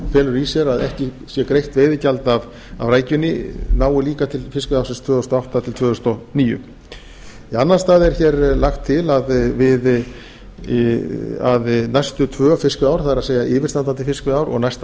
felur í sé greitt veiðigjald af rækjunni nái líka til fiskveiðiársins tvö þúsund og átta til tvö þúsund og níu í annan stað er hér lagt til að næstu tvö fiskveiðiár það er yfirstandandi fiskveiðiár og næsta